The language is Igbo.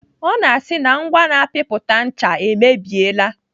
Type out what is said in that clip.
Ọ na-asị na ngwa na-apịpụta ncha e mebiela.